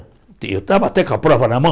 E eu estava até com a prova na mão.